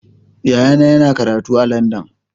Yayana yana karatu a Landan.